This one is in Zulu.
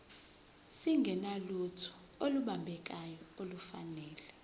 singenalutho olubambekayo nolufanele